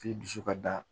K'i dusu ka da